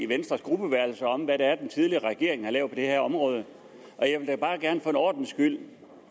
venstres gruppeværelse om hvad den tidligere regering har lavet det her område jeg vil da bare gerne for en ordens skyld